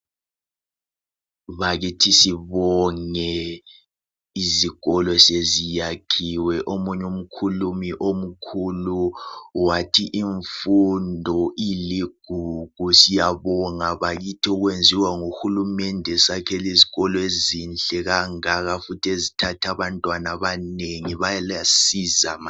Bakithi sibonge izikolo seziyakhiwe, omunye umkhulumi omkhulu wathi imfundo iligugu. Siyabonga bakithi okwenziwa nguhulumende esakhela izikolo ezinhle kangaka futhi ezithatha abantwana abanengi balesiza